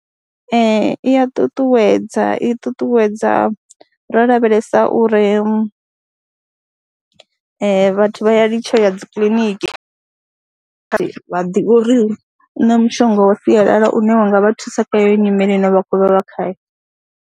Ee, i a tutuwedza, i ṱuṱuwedza ro lavhelesa uri vhathu vha ya litsha ya dzi kiḽiniki, vha ḓivha uri hu na mushonga wa sialala une wa nga vha thusa kha heyo nyimele ine vha khou vha vha khayo.